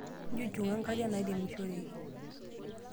Nchushunka nkariak nairemishoreki.